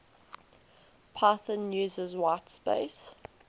python uses whitespace